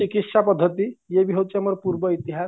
ଚିକିସ୍ୟା ପଦ୍ଧତି ଇଏବି ହଉଚି ଆମର ପୂର୍ବ ଇତିହାସ